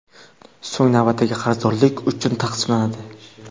so‘ng navbatdagi qarzdorliklar uchun taqsimlanadi.